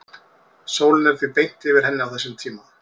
sólin er því beint yfir henni á þessum tíma